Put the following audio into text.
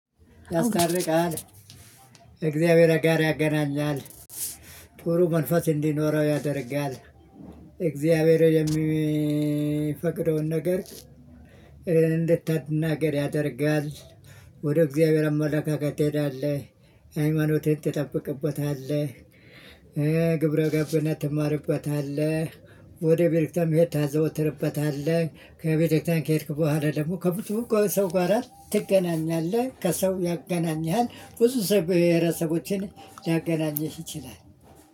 ያስታርቃል እግዚአብሔር ጋር ያገናኛል። ጥሩ መንፈስ እንዲኖረው ያደርጋል። እግዚአብሔር የሚፈቅደውን ነገር። እንድታድናገር ያደርጋል። ወደ እግዚአብሔር አመለካከት ትሄዳለህ ሃይማኖትህን ትጠብቅበታለህ። ግብረ ገብነት ትማርበታለህ። ወደ ቤርክተክርስቲያንም እህት ታዘወትርበታለህ ከቤተክርስቲያን ከሄድክ በኋላ ደግሞ ከብዙ ከሰው ጋራ ትገናኛለህ። ከሰው ያገናኝሃል ብዙ ሰው ብሄረሰቦችን ሊያገናኝህ ይችላል።